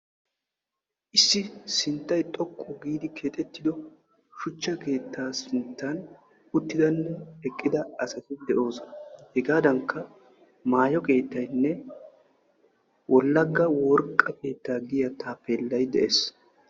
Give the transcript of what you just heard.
Issi sinttay xoqqu giidi keexettido shuchcha keettan uttidanne eqqida asati de'oosona. hegaadankka maayo keettayinne wollaga worqqa keettaa giyaa taappellay de'ees.